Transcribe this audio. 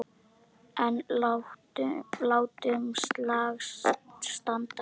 En látum slag standa.